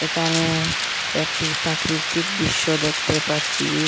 একানে একটি পাকৃতিক দিশ্য দেখতে পাচ্ছি।